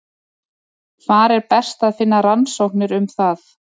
Hvar er best að finna rannsóknir um það?